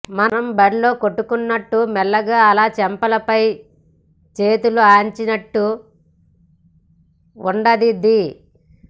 మనం బడిలో కొట్టుకున్నట్టు మెల్లగా అలా చెంపలపై చేతులు ఆనించినట్టు ఉండదిది